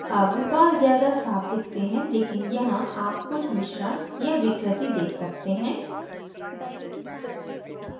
अब बाल ज़्यादा साफ़ दिखते हैं लेकिन यहाँ आप कुछ मिश्रण या विकृति देख सकते हैं